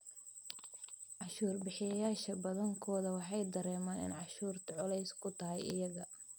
Cashuur bixiyayaasha badankoodu waxay dareemaan in cashuurtu culays ku tahay iyaga.